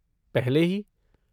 पहले ही।